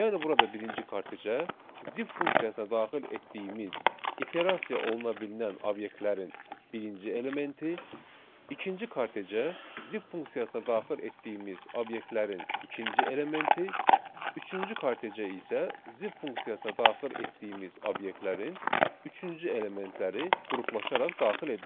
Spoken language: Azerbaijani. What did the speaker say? Yəni burada birinci kortejə, zip funksiyasına daxil etdiyimiz iterasiya oluna bilinən obyektlərin birinci elementi, ikinci kortejə zip funksiyasına daxil etdiyimiz obyektlərin ikinci elementi, üçüncü kortejə isə zip funksiyasına daxil etdiyimiz obyektlərin üçüncü elementləri qruplaşaraq daxil edilir.